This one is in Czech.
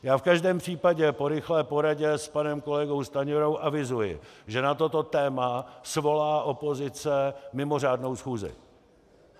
Já v každém případě po rychlé poradě s panem kolegou Stanjurou avizuji, že na toto téma svolá opozice mimořádnou schůzi.